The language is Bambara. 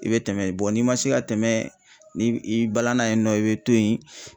I bɛ tɛmɛ n'i man se ka tɛmɛ ni i balanna yen nɔ i bɛ to ye.